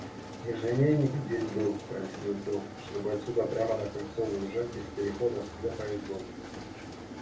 межлинейник здесь был пояснил тот чтобы отсюда прямо на кольцо выезжать без переходов для поездов